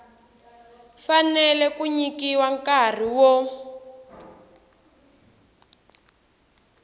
fanele ku nyikiwa nkarhi wo